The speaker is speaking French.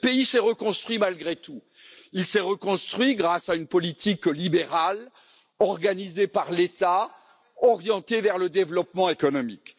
Et ce pays s'est reconstruit, malgré tout. Il s'est reconstruit grâce à une politique libérale organisée par l'État, orientée vers le développement économique.